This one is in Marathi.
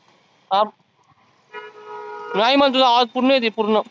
आप नाही मला तुझा आवाज पुर्ण येत आहे पुर्ण.